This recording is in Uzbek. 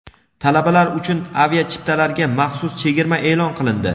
Talabalar uchun aviachiptalarga maxsus chegirma e’lon qilindi.